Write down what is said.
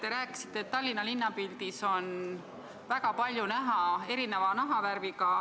Te rääkisite, et Tallinna linnapildis on väga palju näha erineva nahavärviga ...